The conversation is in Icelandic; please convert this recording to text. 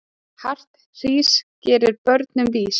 Hart hrís gerir börnin vís.